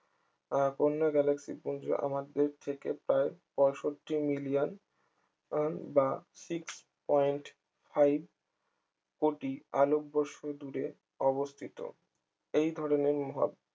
আহ অন্য গ্যালাক্সি পুঞ্জ আমাদের থেকে প্রায় পঁয়ষট্টি মিলিয়ন বা six point five কোটি আলোকবর্ষ দূরে অবস্থিত এই ধরনের মহা